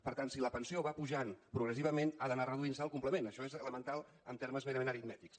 per tant si la pensió va pujant progressivament ha d’anar reduint se el complement això és elemental en termes merament aritmètics